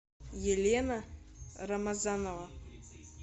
елена рамазанова